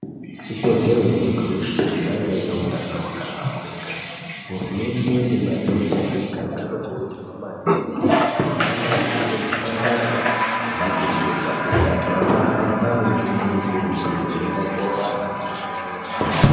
Ikodzero yemuntu weshe kuti ange aine hutano hwakahlamburika, hurumende nemadhodha emigana anokurudzirwa maningi kuti anasire zvipatara nemakirinika kuti antu asahamba mumango mikurutu veienda korapwa nekuvhenekwa.